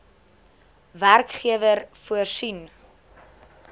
werkgewer voorsien